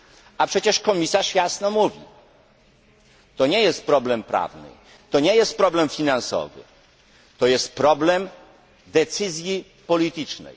A przecież komisarz jasno mówi to nie jest problem prawny, to nie jest problem finansowy, to jest problem decyzji politycznej.